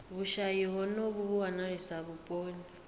vhushayi honovhu vhu wanalesa vhuponi